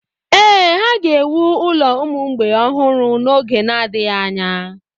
Ee, ha ga-ewu ụlọ ụmụ mgbei ọhụrụ n’oge na-adịghị anya.